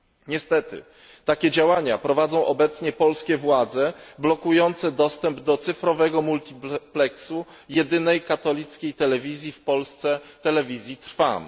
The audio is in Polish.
Niestety takie działania prowadzą obecnie polskie władze blokujące dostęp do cyfrowego multipleksu jedynej katolickiej telewizji w Polsce Telewizji Trwam.